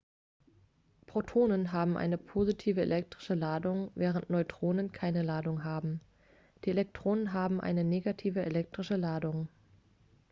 protonen haben eine positive elektrische ladung während neutronen keine ladung haben die elektronen haben eine negative elektrische ladung